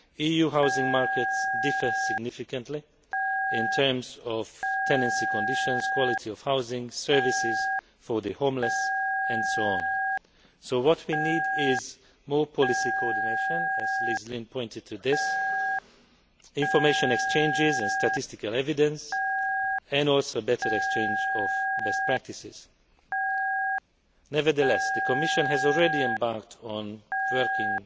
EU housing markets differ significantly in terms of tenancy conditions, quality of housing, services for the homeless, and so on. What we need is more policy coordination, as Liz Lynne pointed out, information exchanges and statistical evidence, and also a better exchange of best practices. Nevertheless, the Commission has already embarked on working